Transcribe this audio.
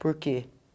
Por que?